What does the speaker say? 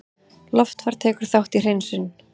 Loftfar tekur þátt í hreinsun